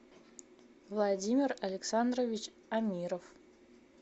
владимир александрович амиров